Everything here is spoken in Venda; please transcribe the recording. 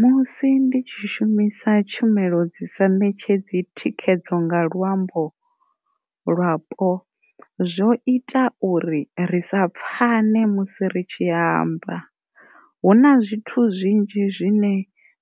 Musi ndi tshi shumisa tshumelo dzi sa ṋetshedzi thikhedzo nga luambo lwapo zwo ita uri ri sa pfani musi ri tshi amba, huna zwithu zwinzhi zwine